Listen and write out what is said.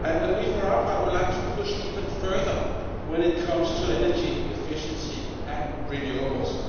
We, for our part, would like to push even further when it comes to energy efficiency and renewables.